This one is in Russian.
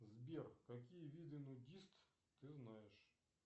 сбер какие виды нудист ты знаешь